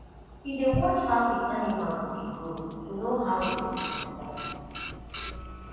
we dey watch how the animals dey grow to know how dem dey perform